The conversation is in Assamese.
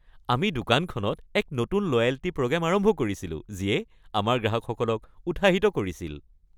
আমি দোকানখনত এক নতুন লয়েল্টী প্ৰগ্ৰেম আৰম্ভ কৰিছিলো যিয়ে আমাৰ গ্ৰাহকসকলক উৎসাহিত কৰিছিল।